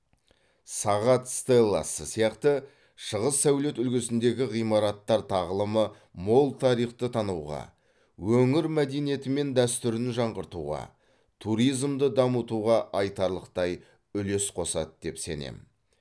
сағат стелласы сияқты шығыс сәулет үлгісіндегі ғимараттар тағылымы мол тарихты тануға өңір мәдениеті мен дәстүрін жаңғыртуға туризмді дамытуға айтарлықтай үлес қосады деп сенемін